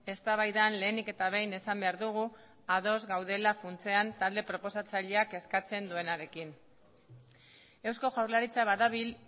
eztabaidan lehenik eta behin esan behar dugu ados gaudela funtsean talde proposatzaileak eskatzen duenarekin eusko jaurlaritza badabil